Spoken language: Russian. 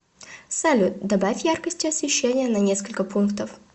салют добавь яркости освещения на несколько пунктов